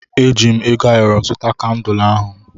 Eji m ego ayọrọ zụta kandul ahụ.